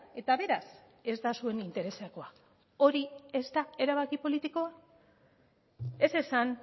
eta beraz ez da zuen interesekoa hori ez da erabaki politikoa ez esan